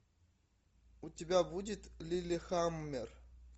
у тебя будет лиллехаммер